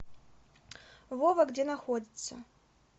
вова где находится